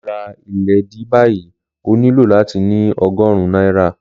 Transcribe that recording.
Láti ra ìléèdí báyìí, o nílò láti ní ogórún náírà.